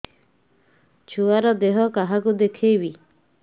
ଛୁଆ ଦେହ କାହାକୁ ଦେଖେଇବି